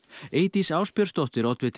Eydís Ásbjörnsdóttir oddviti